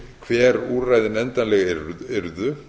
hver úrræðin endanlega yrðu